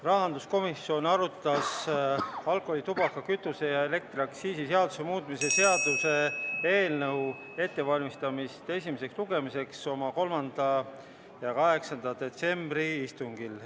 Rahanduskomisjon arutas alkoholi-, tubaka-, kütuse- ja elektriaktsiisi seaduse muutmise seaduse eelnõu ettevalmistamist esimeseks lugemiseks oma 3. ja 8. detsembri istungil.